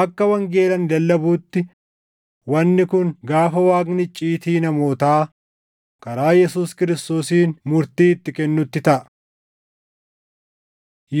Akka wangeela ani lallabuutti wanni kun gaafa Waaqni icciitii namootaa karaa Yesuus Kiristoosiin murtii itti kennutti taʼa.